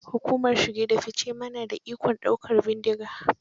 Hukumar shige da fice ma su na da ikon daukar bindiga.